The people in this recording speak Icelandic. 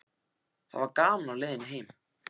Það var gaman á leiðinni heim.